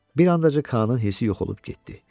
Bir andaca K-nın hissi yox olub getdi.